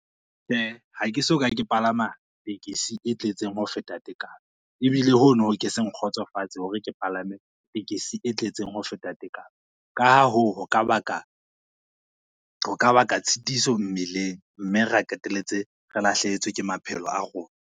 Tjhe, ha ke soka ke palama tekesi e tletseng ho feta tekano, ebile hono ho ke se nkgotsofatse hore ke palame tekesi e tletseng ho feta tekano. Ka ha hoo, ho ka baka tshitiso mmeleng mme re qeteletse re lahlehetswe ke maphelo a rona.